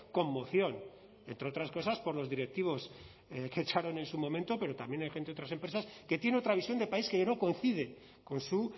con moción entre otras cosas por los directivos que echaron en su momento pero también hay gente de otras empresas que tiene otra visión de país que no coincide con su